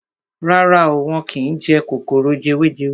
Rárá o, wọ́n kín jẹ kòkòrò jewejewe.